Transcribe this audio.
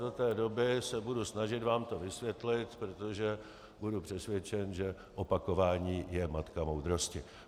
Do té doby se budou snažit vám to vysvětlit, protože budu přesvědčen, že opakování je matka moudrosti.